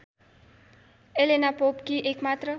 Elena पोपकी एकमात्र